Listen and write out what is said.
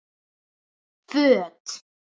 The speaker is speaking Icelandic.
Föt